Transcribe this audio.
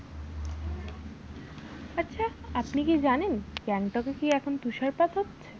আচ্ছা আপনি কি জানেন গ্যাংটক এ কি এখন তুষারপাত হচ্ছে?